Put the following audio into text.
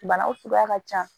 Banaw cogoya ka ca